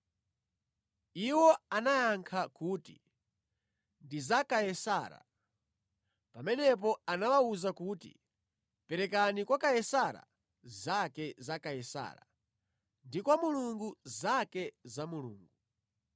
Iwo anayankha kuti, “Ndi za Kaisara.” Pamenepo anawawuza kuti, “Perekani kwa Kaisara zake za Kaisara, ndi kwa Mulungu zake za Mulungu.”